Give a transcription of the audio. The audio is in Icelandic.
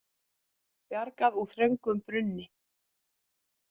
Bjargað úr þröngum brunni